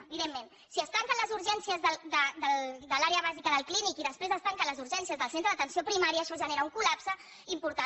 evidentment si es tanquen les urgències de l’àrea bàsica del clínic i després es tanquen les urgències del centre d’atenció primària això genera un col·lapse important